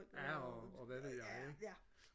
ja og hvad ved jeg ikke